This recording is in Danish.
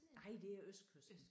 Nej det er østkysten